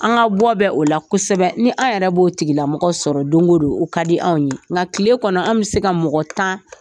An ka bɔ bɛ o la kosɛbɛ . Ni anw yɛrɛ b'o tigila mɔgɔ sɔrɔ don go don o ka di anw ye .Nga kile kɔnɔ anw bi se ka mɔgɔ tan